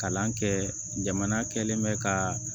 Kalan kɛ jamana kɛlen bɛ ka